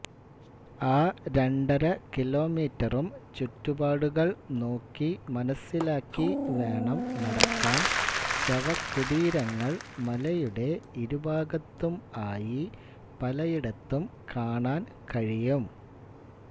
ആ രണ്ടരകിലോമീറ്ററും ചുറ്റുപാടുകൾ നോക്കി മനാസ്സിലാക്കി വേണം നടക്കാൻ ശവകുടീരങ്ങൾ മലയുടെ ഇരുഭാഗത്തും ആയി പലയിടത്തും കാണാൻ കഴിയും